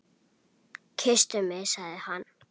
Kysstu mig sagði hann.